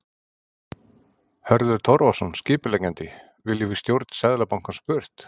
Hörður Torfason, skipuleggjandi: Viljum við stjórn Seðlabankans burt?